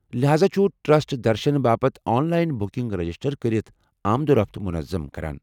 لہاذا چُھ ٹرسٹ درشنہٕ باپتھ آن لاین بُکِنگ رجسٹر کٔرتھ آمد و رفت منظم کران۔